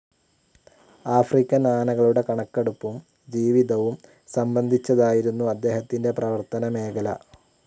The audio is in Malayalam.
ആഫ്രിക്കൻ ആനകളുടെ കണക്കെടുപ്പും ജീവിതവും സംബന്ധിച്ചതായിരുന്നു അദ്ദേഹത്തിന്റെ പ്രവർത്തന മേഖല.